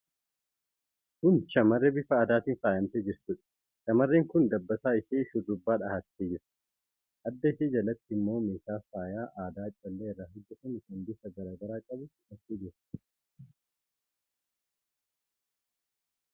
Kun shamarree bifa aadaatiin faayamtee jirtuudha. Shamarreen kun dabbasaa ishee shurrubbaa dhahattee jirti. Adda ishee jalatti immoo meeshaa faayaa aadaa callee irraa hojjetame kan bifa garaa garaa qabu hidhattee jirti.